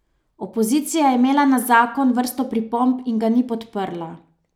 Opozicija je imela na zakon vrsto pripomb in ga ni podprla.